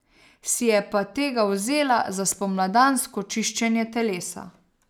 Si je pa tega vzela za spomladansko čiščenje telesa.